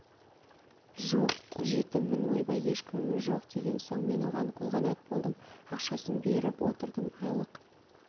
жоқ жетіммін ойбай ешкімім жоқ деген соң мен оған қолғанат болдым ақшасын беріп отырдым айлық